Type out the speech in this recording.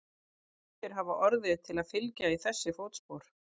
Ýmsir hafa orðið til að fylgja í þessi fótspor.